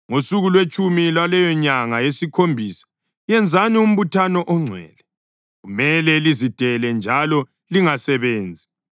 “ ‘Ngosuku lwetshumi lwaleyonyanga yesikhombisa yenzani umbuthano ongcwele. Kumele lizidele njalo lingasebenzi.